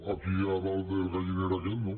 aquí a dalt del galliner aquest no